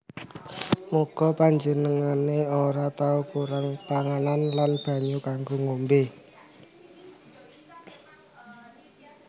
Muga panjenengané ora tau kurang panganan lan banyu kanggo ngombé